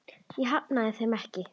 Ég hafna þeim ekki.